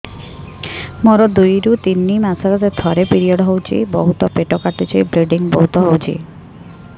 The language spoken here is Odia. ମୋର ଦୁଇରୁ ତିନି ମାସରେ ଥରେ ପିରିଅଡ଼ ହଉଛି ବହୁତ ପେଟ କାଟୁଛି ବ୍ଲିଡ଼ିଙ୍ଗ ବହୁତ ହଉଛି